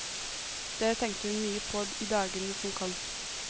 Det tenkte hun mye på i dagene som kom.